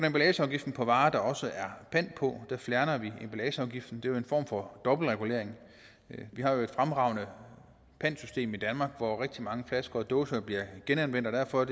emballageafgiften på varer der også er pant på der fjerner vi emballageafgiften det jo en form for dobbeltregulering vi har jo et fremragende pantsystem i danmark hvor rigtig mange flasker og dåser bliver genanvendt og derfor er